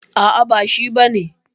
A'a, ba shi bane.